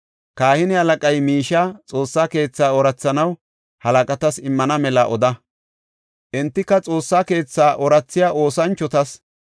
Kahine halaqay miishiya Xoossa keetha oorathanaw halaqatas immana mela oda. Entika Xoossa keetha oorathiya oosanchotas,